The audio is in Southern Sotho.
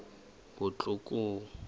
botlhokong